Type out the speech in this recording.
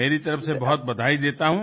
मेरी तरफ से बहुत बधाई देता हूँ